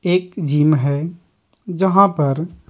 एक जिम है जहां पर --